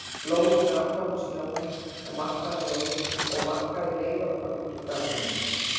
Blóðið lak ofan í snjóinn og markaði leið okkar út úr garðinum.